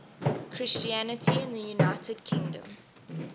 christianity in the united kingdom